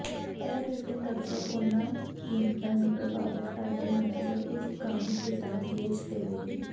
ਇਹ ਰੇਟਿੰਗ ਅਕਸਰ ਉਹਨਾਂ ਕੀਮਤਾਂ ਨੂੰ ਪ੍ਰਭਾਵਿਤ ਕਰਦੇ ਹਨ ਜੋ ਇੱਕ ਕਾਮਿਕ ਕਿਤਾਬ ਵੇਚ ਦੇਵੇਗੀ